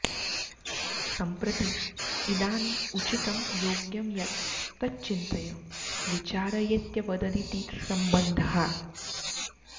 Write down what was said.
सम्प्रति इदानीम् उचितं योग्यं यत् तत् चिन्तय विचारयेत्यवददिति सम्बन्धः